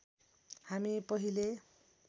हामी पहिले